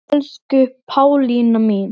Elsku Pálína mín.